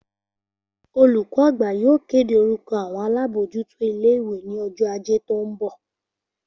Olùkó àgbà yóò kéde orúko àwon alábójútó ilé ìwé ní ojó Ajé tó n bò